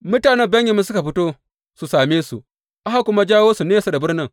Mutanen Benyamin suka fito su same su aka kuma jawo su nesa da birnin.